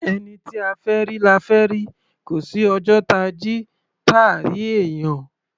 Ẹni tí a fẹ́ rí, la fẹ́ rí; kò sí ọjọ́ táa jí, táà rí èèyàn.